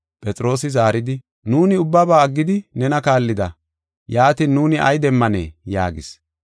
Phexroosi zaaridi, “Nuuni ubbaba aggidi nena kaallida. Yaatin, nuuni ay demmanee?” yaagis.